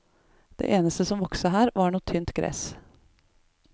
Det eneste som vokste her, var noe tynt gress.